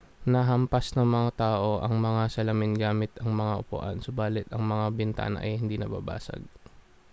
hinahampas ng mga tao ang mga salamin gamit ang mga upuan subalit ang mga bintana ay hindi nababasag